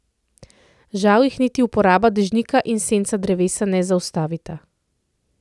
Žal jih niti uporaba dežnika in senca drevesa ne zaustavita.